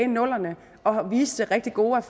nullerne og viste rigtig gode